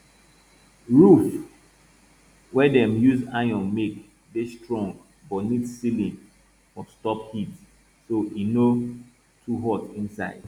roof wey dem use iron make dey strong but need ceiling for stop heat so e no too hot inside